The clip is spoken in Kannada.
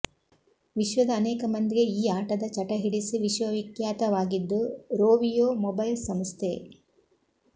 ವಿಶ್ವದ ಅನೇಕ ಮಂದಿಗೆ ಈ ಆಟದ ಚಟ ಹಿಡಿಸಿ ವಿಶ್ವವಿಖ್ಯಾತವಾಗಿದ್ದು ರೋವಿಯೋ ಮೊಬೈಲ್ ಸಂಸ್ಥೆ